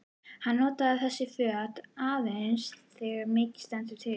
Hann notar þessi föt aðeins þegar mikið stendur til.